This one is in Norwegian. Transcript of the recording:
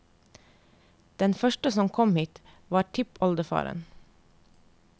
Den første som kom hit, var tippoldefaren.